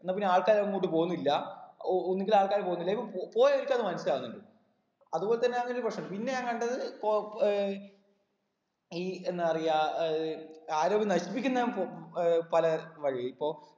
എന്ന പിന്നെ ആൾക്കാര് എങ്ങോട്ടു പോന്നില്ല ഒ ഒന്നിക്കിൽ ആൾക്കാര് പോന്നില്ല ഇപ്പം പൊ പോയവർക്ക് അത് മനസ്സിലാകുന്നുണ്ട് അതുപോലെ തന്നെ അതൊരു പ്രശ്നം പിന്നെ ഞാൻ കണ്ടത് പോ ഏർ ഈ എന്താ പറയാ ഏർ ആരോഗ്യം നശിപ്പിക്കുന്ന ഉം ഏർ പല വഴി ഇപ്പൊ